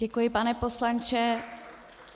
Děkuji, pane poslanče.